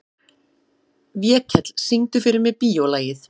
Vékell, syngdu fyrir mig „Bíólagið“.